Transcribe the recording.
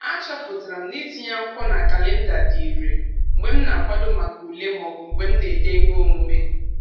A chọpụtara m na itinye akwụkwọ na kalịnda dị ire mgbe m na-akwado maka ule maọbụ mgbe m na-ede ihe omume.